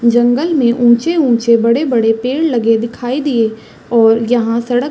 जंगल में ऊँचे-ऊँचे बड़े-बड़े पेड़ लगे दिखाई दिए और यहाँ सड़क--